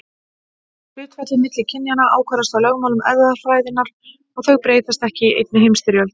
Hlutfallið milli kynjanna ákvarðast af lögmálum erfðafræðinnar og þau breytast ekki í einni heimstyrjöld.